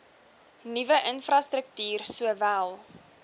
nuwe infrastruktuur sowel